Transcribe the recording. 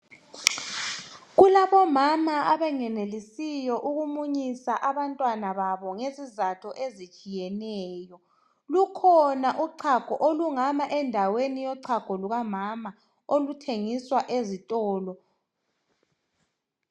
Kulabomama abangenelisiyo ukumunyisa abantwana babo ngezizatho ezitshiyeneyo, lukhona uchago olungama endaweni yochago lukamama okuthengiswa ezitolo.